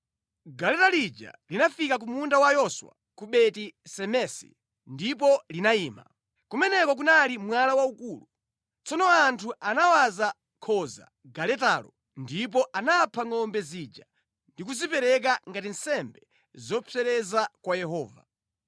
Galeta lija linafika ku munda wa Yoswa ku Beti-Semesi ndipo linayima. Kumeneko kunali mwala waukulu. Tsono anthu anawaza nkhuni galetalo, ndipo anapha ngʼombe zija ndi kuzipereka ngati nsembe zopsereza kwa Yehova.